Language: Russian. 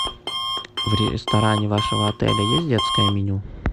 в ресторане вашего отеля есть детское меню